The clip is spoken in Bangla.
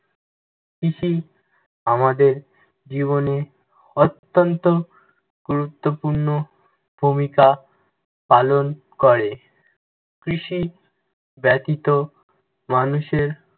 কৃষি আমাদের জীবনে অত্যন্ত গুরুত্বপূর্ণ ভূমিকা পালন করে। কৃষি ব্যতিত মানুষের